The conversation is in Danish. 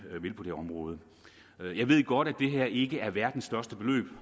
vil på det område jeg ved godt at det her ikke er verdens største beløb